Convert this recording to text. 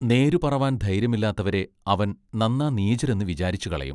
നേരുപറവാൻ ധൈര്യമില്ലാത്തവരെ അവൻ നന്നാ നീചരെന്ന് വിചാരിച്ചു കളയും.